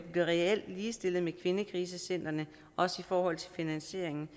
bliver reelt ligestillet med kvindekrisecentrene også i forhold til finansieringen